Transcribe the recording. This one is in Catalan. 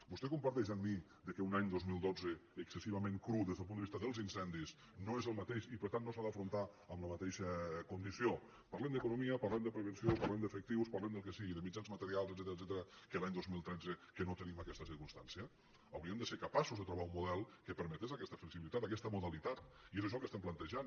vostè comparteix amb mi que un any dos mil dotze excessi·vament cru des del punt de vista dels incendis no és el mateix i per tant no s’ha d’afrontar amb la ma·teixa condició parlem d’economia parlem de pre·venció parlem d’efectius parlem del que sigui de mitjans materials etcètera que l’any dos mil tretze que no tenim aquesta circumstància hauríem de ser capa·ços de trobar un model que permetés aquesta flexibi·litat aquesta modalitat i és això el que estem plante·jant